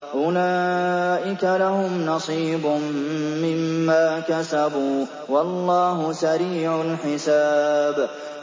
أُولَٰئِكَ لَهُمْ نَصِيبٌ مِّمَّا كَسَبُوا ۚ وَاللَّهُ سَرِيعُ الْحِسَابِ